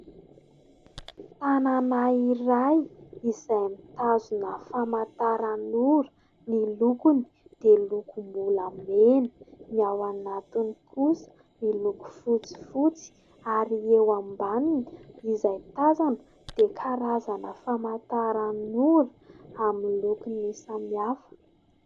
Tanana iray izay mitazona famantaranora. Ny lokony dia lokom-bolamena, ny ao anatiny kosa miloko fotsifotsy ary eo ambaniny izay tazana dia karazana famantaranora amin'ny lokony samihafa.